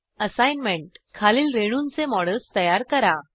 assignment खालील रेणूंचे models तयार करा